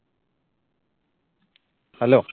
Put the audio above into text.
hello